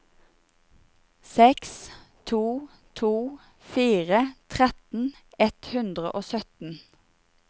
seks to to fire tretten ett hundre og sytten